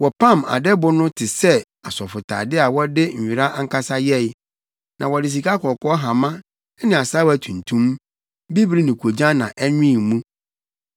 Wɔpam adɛbo no te sɛ asɔfotade a wɔde nwera ankasa yɛe, na wɔde sikakɔkɔɔ hama ne asaawa tuntum, bibiri ne koogyan na ɛnwen mu.